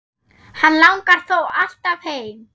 Hann langar þó alltaf heim.